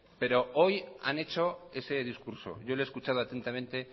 pero hoy han hecho ese discurso yo lo he escuchado atentamente